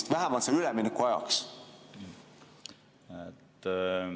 Ehk vähemalt selle ülemineku ajaks?